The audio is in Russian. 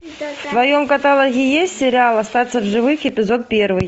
в твоем каталоге есть сериал остаться в живых эпизод первый